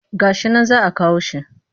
Ga shi nan za a kawo shi